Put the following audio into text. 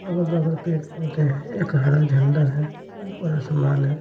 अगर बगल पेड़ पौधे हैं एक हरा झंडा है ऊपर समान है।